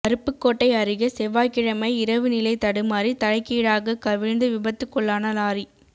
அருப்புக்கோட்டை அருகே செவ்வாய்க்கிழமை இரவு நிலை தடுமாறி தலைகீழாகக் கவிழ்ந்து விபத்துக்குள்ளான லாரி